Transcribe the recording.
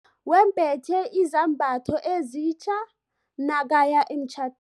Wembethe izambatho ezitja nakaya emtjha